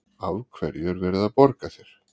Af hverju er verið að borga þér?